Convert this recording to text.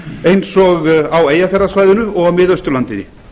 eins og á eyjafjarðarsvæðinu og á miðausturlandi